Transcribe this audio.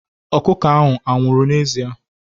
Ọkụkọ ahụ anwụrụ n'ezie?